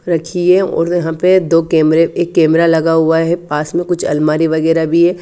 रखी है और यहां पे दो कैमरे एक कैमरा लगा हुआ है पास में कुछ अलमारी वगैरा भी है।